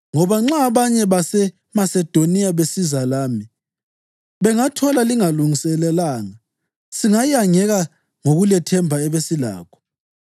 Ngoba nxa abanye baseMasedoniya besiza lami, bengathola lingalungiselanga, singayangeka ngokulethemba ebesilakho.